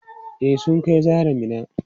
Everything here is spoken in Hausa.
E, sun kai Zahra Minna.